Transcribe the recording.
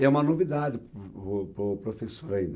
É uma novidade para o para o professor ainda.